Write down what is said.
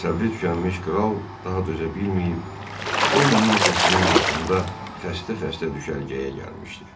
Səbri tükənmiş kral daha dözə bilməyib, 10 min qoşunun başında xəstə-xəstə düşərgəyə gəlmişdi.